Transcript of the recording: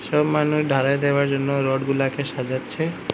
মানুষ ঢালাই দেবার জন্য রড গুলাকে সাজাচ্ছে।